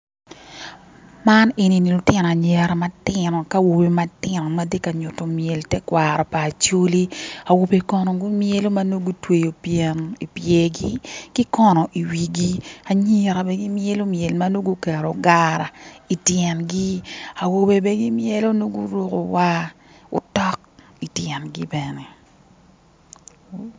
Man eni- ni lutino anyira matino ki awobe matino mati ka nyutto myel tekwaro pa acholi awobe kono gumyelo ma gutweyo byen i byergi ki kono iwigi anyira bene gimyelo myel ma nongo guketto gara i tyengi awobe bene gimyelo nongo guruko waa otok ityengi bene